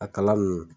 A kala ninnu